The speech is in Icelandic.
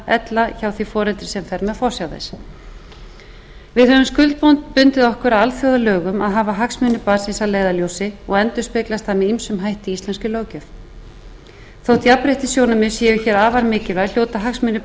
ella hjá því foreldri sem fer með forsjá þess við höfum skuldbundið okkur að alþjóðalögum að hafa hagsmuni barnsins að leiðarljósi og endurspeglast það með ýmsum hætti í íslenskri löggjöf þótt jafnréttissjónarmið séu hér afar mikilvæg hljóta hagsmunir